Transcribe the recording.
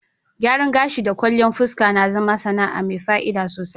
Gyaran gashi da kwalliyan fuska na zama sana'a mai fa'ida sosai.